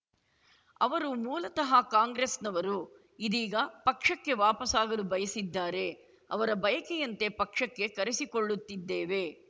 ಅವರು ಮೂಲತಃ ಕಾಂಗ್ರೆಸ್‌ನವರು ಇದೀಗ ಪಕ್ಷಕ್ಕೆ ವಾಪಸಾಗಲು ಬಯಸಿದ್ದಾರೆ ಅವರ ಬಯಕೆಯಂತೆ ಪಕ್ಷಕ್ಕೆ ಕರೆಸಿಕೊಳ್ಳುತ್ತಿದ್ದೇವೆ